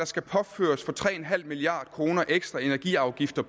skal påføres for tre milliard kroner ekstra energiafgifter